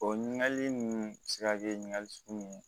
O ɲininkali ninnu bɛ se ka kɛ ɲininkali sugu mun ye